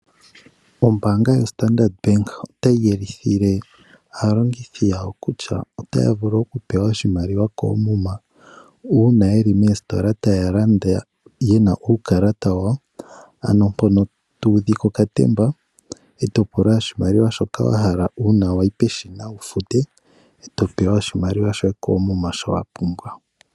Ombaanga yoStandard Bank otayi yelithile aalongithi yawo kutya otaya vulu okupewa oshimaliwa koomuma uuna ye li moositola taya landa ye na uukalata wawo, ano mpono tu udha okatemba e to pula oshimaliwa shoka uuna wa yi peshina wu fute, e to pewa oshimaliwa shoye koomuma shoka wa pumbwa.